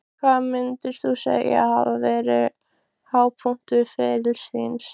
Hvað myndir þú segja að hafi verið hápunktur ferils þíns?